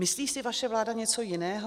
Myslí si vaše vláda něco jiného?